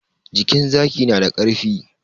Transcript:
Jikin zaki na da karfi